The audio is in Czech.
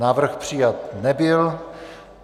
Návrh přijat nebyl.